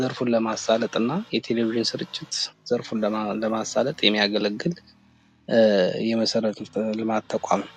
ዘርፉን ለማሳለጥ እና የቴሌቪዥን ስርጭት ዘርፉን ለማሳለጥ የሚያገለግል የመሠረተ ልማት ተቋም ነው።